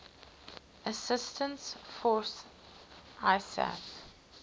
assistance force isaf